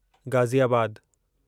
ग़ाज़ीआबादु